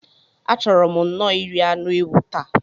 A chọrọ m nno iri anụ ewu taa.